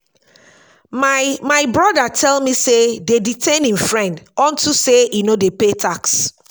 my my brother tell me say dey detain im friend unto say e no dey pay tax